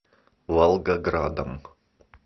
волгоградом